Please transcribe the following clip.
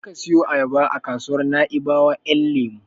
Je ka siyo ayaba a kasuwar Naibawa Ƴan lemo.